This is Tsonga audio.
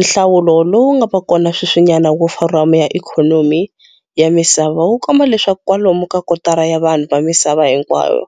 Nhlawulo lowu nga va kona sweswinyana wa Foramu ya Ikhomomi ya Misava wu komba leswaku kwalomu ka kotara ya vanhu va misava hinkwayo,